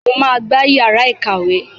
Mo máa gbá yàrá ìkàwé.